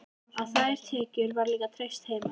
Á þær tekjur var líka treyst heima.